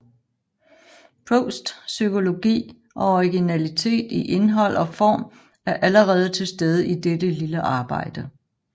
Prousts psykologi og originalitet i indhold og form er allerede til stede i dette lille arbejde